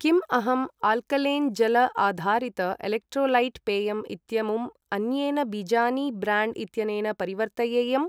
किम् अहं आल्कलेन् जल आधारित एलेक्ट्रोलैट् पेयम् इत्यमुम् अन्येन बीजानि ब्र्याण्ड् इत्यनेन परिवर्तयेयम्?